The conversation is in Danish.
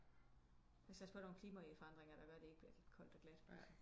Vi kan satse på der er nogle klimaforandringer der gør det ikke bliver koldt og glat